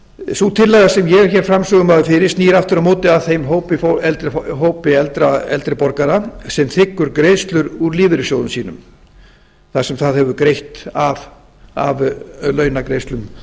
sú tillaga sem ég er hér framsögumaður fyrir snýr aftur á móti að þeim hópi eldri borgara sem þiggur greiðslur úr lífeyrissjóðum sínum það sem það hefur greitt af launagreiðslum